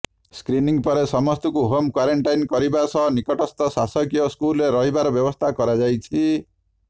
screening ପରେ ସମସ୍ତଙ୍କୁ home quarantine କରିବା ସହ ନିକଟସ୍ଥ ଶାସକୀୟ ସ୍କୁଲରେ ରହିବାର ବ୍ୟବସ୍ଥା କରାଯାଇଛି